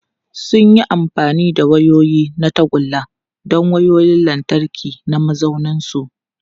Sun yi amfani da wayoyi na tagulla don wayoyin lantarki na mazauninsu.